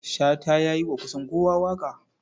Shata ya yi wa kusan kowa waƙa.